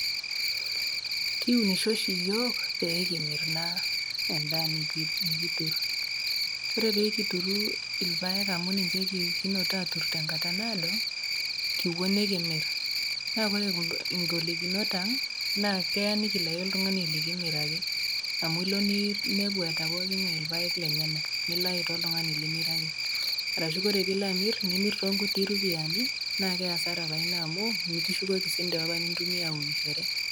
Kiunisho oshi yiok peekimir naa endaa nikitur, ore pekitur irpaek amu ninche kitur tenkata naado kipuo nikimir naa ore ngolikinot aang naa keya nikilayu oltungani likimiraki ,amu ilo ninepu eeata pookingae irpaek lenyenak nilau taa oltungani limiraki, arashu ore tenilo amir nimir tonkuti ropiyani na keasara naa ina amu mikishukoki mpisai apa nintumia aunishor.